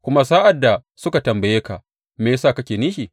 Kuma sa’ad da suka tambaye ka, Me ya sa kake nishi?’